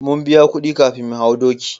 Mun biya kudi kafin mu hau doki